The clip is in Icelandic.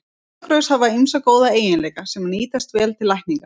Fjallagrös hafa ýmsa góða eiginleika, sem nýtast vel til lækninga.